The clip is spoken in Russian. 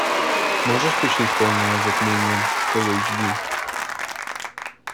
можешь включить полное затмение фулл эйч ди